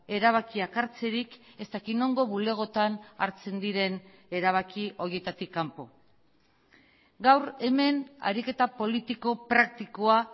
erabakiak hartzerik ez dakit nongo bulegotan hartzen diren erabaki horietatik kanpo gaur hemen ariketa politiko praktikoa